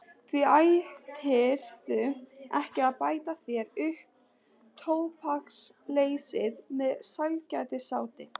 Því ættirðu ekki að bæta þér upp tóbaksleysið með sælgætisáti.